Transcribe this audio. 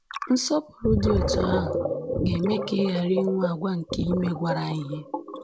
Nsọpụrụ dị otú ahụ ga-eme ka ị ghara inwe àgwà nke imegwara ihe